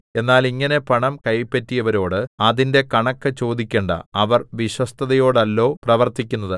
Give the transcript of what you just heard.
എന്നാൽ ഇങ്ങനെ പണം കൈപ്പറ്റിയവരോട് അതിന്റെ കണക്ക് ചോദിക്കേണ്ടാ അവർ വിശ്വസ്തതയോടെയല്ലോ പ്രവർത്തിക്കുന്നത്